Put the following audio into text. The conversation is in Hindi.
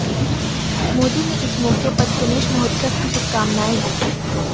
मोदी ने इस मौके पर गणेश महोत्सव की शुभकामनाएं दीं